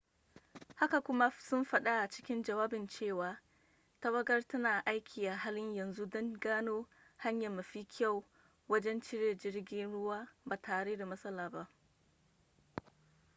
haka kuma sun faɗa a cikin jawabin cewa tawagar tana aiki a halin yanzu don gano hanya mafi kyau wajen ciro jirgin ruwan ba tare da matsala ba